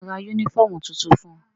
Sọ ma ra yúnífọ̀mù tuntun fun?